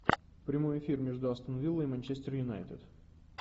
прямой эфир между астон вилла и манчестер юнайтед